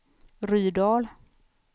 Rydal